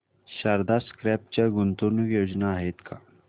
Sharda crop च्या गुंतवणूक योजना आहेत का